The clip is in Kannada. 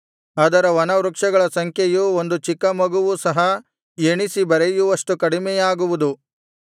ಅದರ ವನವೃಕ್ಷಗಳ ಸಂಖ್ಯೆಯು ಒಂದು ಚಿಕ್ಕಮಗುವೂ ಸಹ ಎಣಿಸಿ ಬರೆಯುವಷ್ಟು ಕಡಿಮೆಯಾಗುವುದು